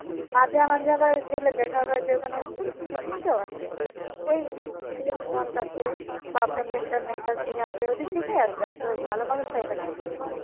মাঝে মাঝে আবার গেলে আবার দেখা হয় যে ওখানে যে picnic ও বসে ওই আছে আপনার আপনার mental থেকে আসে ওইদিক থেকেই আসবে এসব ভালো মানুষ তো আসবেনা।